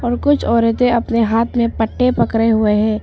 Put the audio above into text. और कुछ औरतें अपने हाथ में पट्टे पकड़े हुए हैं।